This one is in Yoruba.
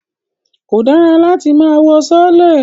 Kò dára láti máa wọ sọọ́lẹ̀